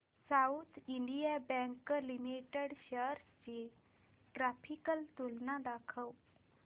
south Indian Bank Limited shares ची graphical तुलना दाखव